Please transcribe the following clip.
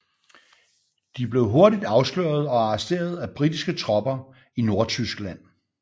De blev hurtigt afsløret og arresteret af britiske tropper i Nordtyskland